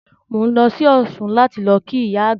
Mò ń lọ sí Ọ̀ṣun láti lọ kí ìyá àgbà